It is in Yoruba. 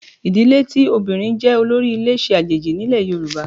Ìdílé tí obìnrin jẹ́ olórí ilé ṣe àjèjì nílẹ̀ Yorùbá